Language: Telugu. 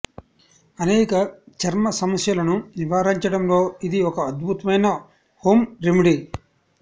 అనేక చర్మ సమస్యలను నివారించడంలో ఇది ఒక అద్భుతమైన హోం రెమెడీ